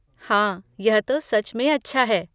हाँ, यह तो सच में अच्छा है।